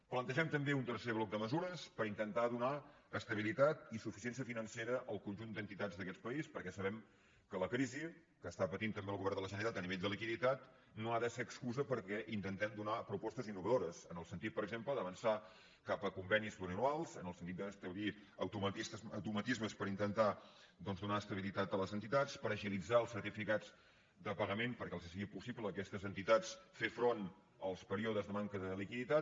plantegem també un tercer bloc de mesures per intentar donar estabilitat i suficiència financera al conjunt d’entitats d’aquest país perquè sabem que la crisi que està patint també el govern de la generalitat a nivell de liquiditat no ha de ser excusa perquè intentem donar propostes innovadores en el sentit per exemple d’avançar cap a convenis pluriennals en el sentit d’establir automatismes per intentar doncs donar estabilitat a les entitats per agilitzar els certificats de pagament perquè els sigui possible a aquestes entitats fer front als períodes de manca de liquiditat